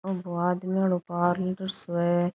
यो आदमिया रो पार्लर सो है।